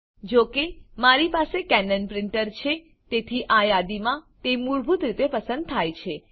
જો કે મારી પાસે કેનન પ્રીંટર છે તેથી આ યાદીમાં તે મૂળભૂત રીતે પસંદ થાય છે